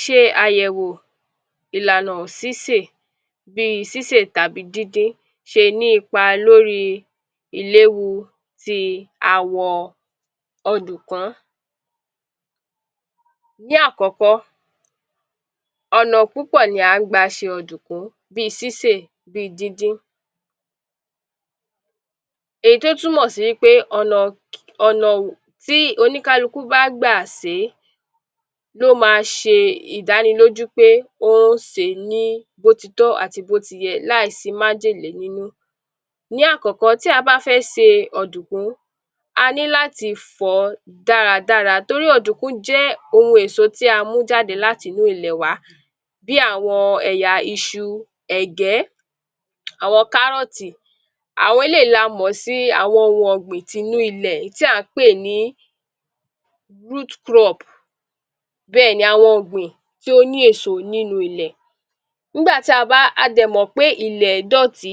Ṣe àyẹ̀wò ìlànà sísè bíi sísè tàbí díndín ṣe ní ipa l'óri i ìléwu ti awọ ọdùkún; Ní àkọ́kọ́, ọ̀nà púpọ̀ ni à ń gba ṣe ọ̀dùkún bíi sísè bíi díndín èyí tí ó túmọ̀ sí wípé ọ̀nà ọ̀nà tí oníkálukú bá gbà sèé ló ma ṣe ìdánilójú pé ó sèé ní bo ti tọ́ àti bó ti yẹ láì sí májèlé nínú, ní àkọ́kọ́ tí a bá fẹ́ se ọ̀dùkún,a ní láti fọ̀ọ́ dáradára torí ọ̀dùkún jẹ́ ohun èso tí a mú jáde láti inú ilẹ̀ wá bí àwọn ẹ̀yà iṣu, ẹ̀gẹ́, àwọn kárọ́ọ̀tì àwọn eléyìí la mọ̀ sí ohun ọ̀gbìn tinú ilẹ̀ tí à ń pè ní root crop bẹ́ẹ̀ ni awọn ọ̀gbìn tí ó ní èso nínu ilẹ̀, n'ígbà tí a bá a dẹ̀ mọ̀ pé ilẹ̀ ẹ́ dọ̀tí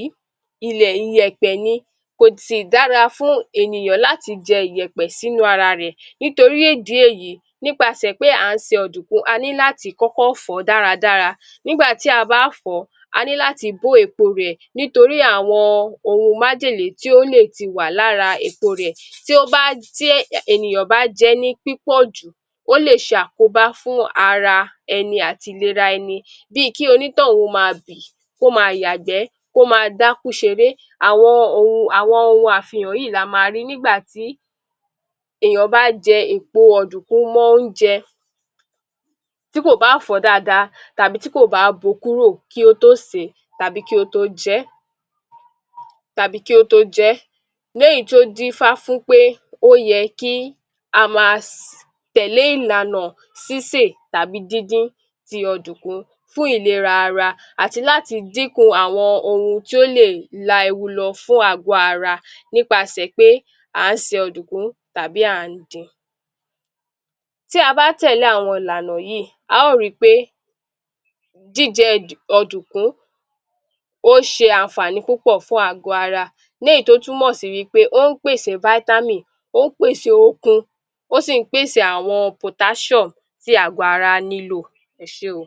ilẹ̀ iyẹ̀pẹ̀ ni kò sì dára fún ènìyàn láti jẹ iyẹ̀pẹ̀ s'ínú ara rẹ̀ nítorí ìdí èyí nípasẹ̀ pé à ń se ọ̀dùkún,a ní láti kọ́kọ́ fọ̀ọ́ dáradára, n'ígbà tí a bá fọ̀ọ́ a ní láti bó èpo rẹ̀ nítorí àwọn ohun májèlé tí ó lè ti wà l'ára èpo rẹ̀ tí ó bá tí ènìyàn bá jẹẹ́ ní pípọ̀ jù ó lè ṣàkóbá fún ara ẹni àt'ìlera ẹni bíi kí onítọún ma bì kó ma yàgbẹ́ kó ma dákú ṣeré àwọn ohun àwọn ohun àfihàn yíì la ma rí n'ígbà tí èyán bá jẹ èpo ọ̀dùkún mọ́ Ónjẹ tí kò bá fọ̀ọ́ dáada tàbí tí kò bá bo kúrò kí ó tó sèé tàbí kí ó tó jẹẹ́ tàbí kí ó tó jẹẹ́ ní èyí tó d'ífá fún pé ó yẹ kí á ma tẹ̀lé ìlànà sísè tàbí díndín ti ọ̀dùkún fún ilera ara àti láti dínkù àwọn ohun tí ó lè la ewu lọ fún àgọ ara wa nípasẹ̀ ẹ́ pé à ń se ọ̀dùkún tàbí à ń din. Tí a bá tẹ̀lé àwọn ìlànà yíì a ó ri pé jíjẹ ọ̀dùkún ó ṣe ànfàní púpọ̀ fún àgọ ara wa léyìí tó túmọ̀ sí wí pé ó ń pèse vitamin ó pèṣe okun ó sì ń pèsè àwọn potassium tí àgọ ará nílò.Ẹ ṣe o.